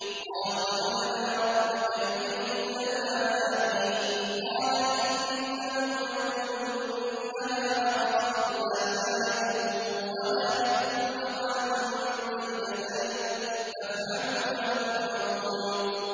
قَالُوا ادْعُ لَنَا رَبَّكَ يُبَيِّن لَّنَا مَا هِيَ ۚ قَالَ إِنَّهُ يَقُولُ إِنَّهَا بَقَرَةٌ لَّا فَارِضٌ وَلَا بِكْرٌ عَوَانٌ بَيْنَ ذَٰلِكَ ۖ فَافْعَلُوا مَا تُؤْمَرُونَ